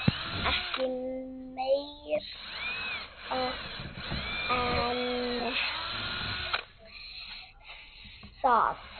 Ekki meira en það.